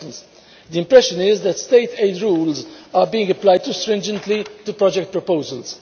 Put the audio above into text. For instance, the impression is that state aid rules are being applied too stringently to project proposals.